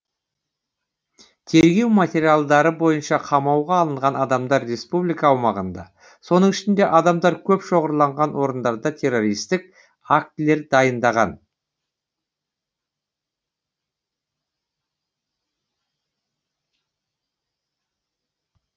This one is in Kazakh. тергеу материалдары бойынша қамауға алынған адамдар республика аумағында соның ішінде адамдар көп шоғырланған орындарда террористік актілер дайындаған